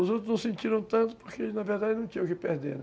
Os outros não sentiram tanto porque, na verdade, não tinham o que perder, né?